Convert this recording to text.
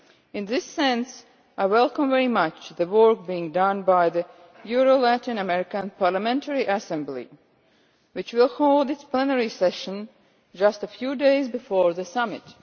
In this sense, I welcome very much the work being done by the Euro Latin American Parliamentary Assembly which will hold its Plenary Session just a few days before the Summit.